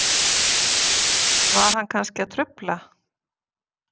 Var hann kannski að trufla?